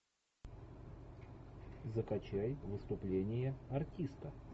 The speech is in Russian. закачай выступление артиста